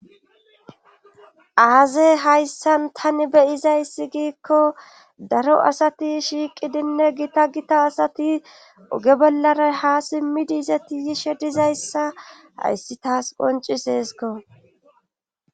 aazey hayssan tani beyizayssi giikko daro asati shiiqidinne gita gita asati uge bollaray ha simmidi izati yishe dizayssa hayssi taas qoncis heesiko